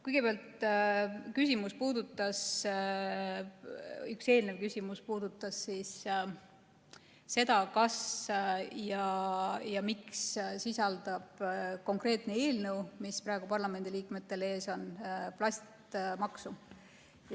Kõigepealt, üks eelnev küsimus puudutas seda, kas ja miks sisaldab konkreetne eelnõu, mis on praegu parlamendiliikmetel ees, plastimaksu.